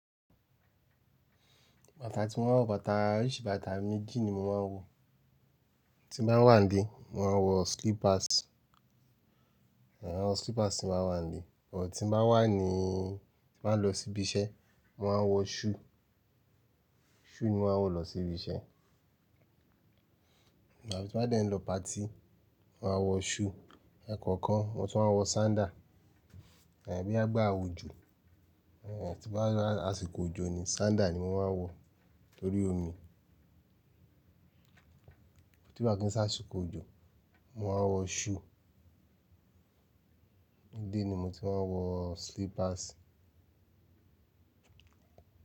Bàtà tí mo máa ń wọ, bàtà oríṣi bàtà méjì ni mo máa ń wọ. Tí mo bá wà nílé, mo máa ń wọ slippers, àń wọ slippers tí mo bá wà nílé. But tí mo bá wà níí, tí mo bá lọ sí ibi iṣẹ́, mo máa ń wọ shoe, shoe ni mo máa ń wọ lọ sí ibi iṣẹ́. Òótọ́ bí mo bá dé ń lọ party, màá wọ shoe, ekọ̀ọ̀kan, mo tún máa ń wọ sandal, àń bóyá igba òjò, àń tí bá lọ lásìkò òjò ni sandal ni mo máa ń wọ torí omi. Tí bá kí ń s'ásìkò òjò, mo máa wọ shoe. Nílé ni mo ti máa ń wọ slippers.